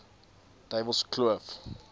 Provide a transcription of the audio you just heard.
duiwelskloof